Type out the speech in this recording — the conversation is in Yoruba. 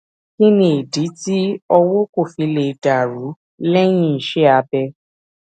kí nìdí tí ọwó kò fi lè dà rú léyìn iṣé abẹ